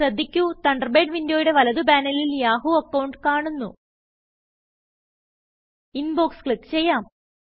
ശ്രദ്ധിക്കു Thunderbird വിന്ഡോയുടെ വലത് പാനലിൽ യാഹൂ അക്കൌണ്ട് കാണുന്നു ഇൻബോക്സ് ക്ലിക്ക് ചെയ്യാം